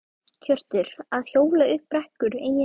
Hjörtur: Að hjóla upp brekkur, eiginlega?